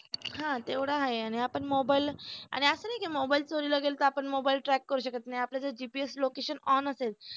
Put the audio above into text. हा तेवढ आहे आणि आपण मोबाईल की मोबाईल चोरीला गेला तर मोबाईल track करु शकत नाही आपलं जर GPS location on असेल